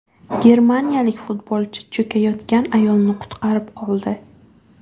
Germaniyalik futbolchi cho‘kayotgan ayolni qutqarib qoldi.